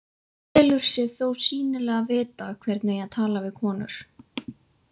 Telur sig þó sýnilega vita hvernig eigi að tala við konur.